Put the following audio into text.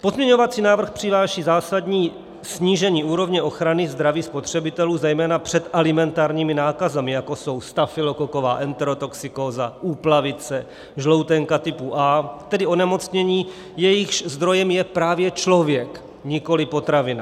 Pozměňovací návrh přináší zásadní snížení úrovně ochrany zdraví spotřebitelů zejména před alimentárními nákazami, jako jsou stafylokoková enterotoxikóza, úplavice, žloutenka typu A, tedy onemocnění, jejichž zdrojem je právě člověk, nikoliv potravina.